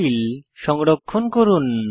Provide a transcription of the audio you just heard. file সংরক্ষণ করুন